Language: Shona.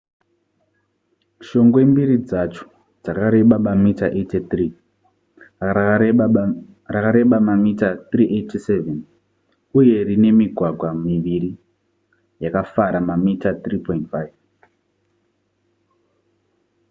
shongwe mbiri dzacho dzakareba mamita 83 rakareba mamita 378 uye rine migwagwa miviri yakafara mamita 3,5